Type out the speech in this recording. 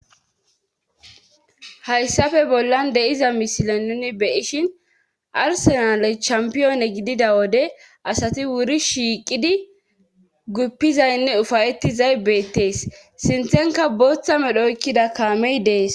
Hayssafe bollan de7iza misile nuni beyishin arsenale cshampiyoone gidida wode asati wuri shiiqidi guppizaynne ufayetti zaybeettees sinthenka booththa medho oykkida kaamey dees